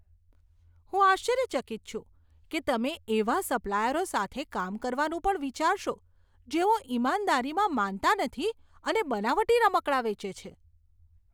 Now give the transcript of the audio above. હું આશ્ચર્યચકિત છું કે તમે એવા સપ્લાયરો સાથે કામ કરવાનું પણ વિચારશો, જેઓ ઇમાનદારીમાં માનતા નથી અને બનાવટી રમકડાં વેચે છે.